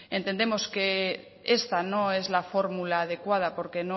entendemos que esta no es la fórmula adecuada porque